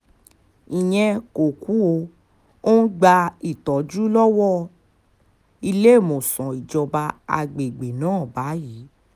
ìyẹn kò kù ó ń gba ìtọ́jú lọ́wọ́ níléemọ̀sán ìjọba àgbègbè náà báyìí